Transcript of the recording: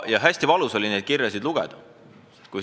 Ja hästi valus oli neid kirju lugeda.